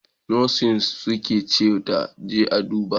Nurses suka ce ta je a duba!